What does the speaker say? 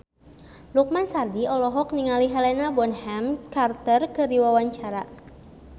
Lukman Sardi olohok ningali Helena Bonham Carter keur diwawancara